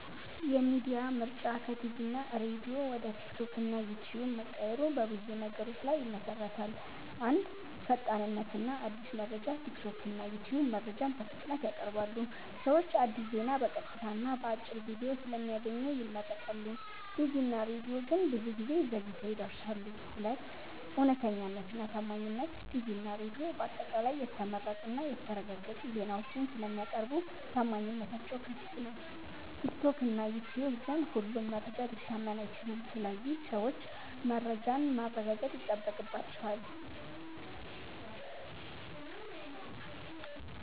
የሚዲያ ምርጫ ከቲቪ እና ሬዲዮ ወደ ቲክቶክ እና ዩትዩብ መቀየሩ በብዙ ነገሮች ላይ ይመሠረታል። 1. ፈጣንነት እና አዲስ መረጃ ቲክቶክ እና ዩትዩብ መረጃን በፍጥነት ያቀርባሉ። ሰዎች አዲስ ዜና በቀጥታ እና በአጭር ቪዲዮ ስለሚያገኙ ይመርጣሉ። ቲቪ እና ሬዲዮ ግን ብዙ ጊዜ ዘግይተው ይደርሳሉ። 2. እውነተኛነት እና ታማኝነት ቲቪ እና ሬዲዮ በአጠቃላይ የተመረጡ እና የተረጋገጡ ዜናዎችን ስለሚያቀርቡ ታማኝነታቸው ከፍ ነው። ቲክቶክ እና ዩትዩብ ግን ሁሉም መረጃ ሊታመን አይችልም ስለዚህ ሰዎች መረጃን ማረጋገጥ ይጠበቅባቸዋል።